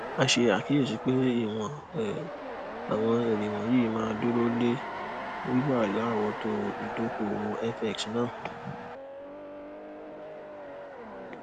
a ṣe àkíyèsí pé ìwọn um àwọn èrè wọnyí máa dúró lé wíwà larowoto idokowo fx náà